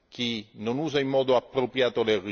chi non li usa in modo appropriato.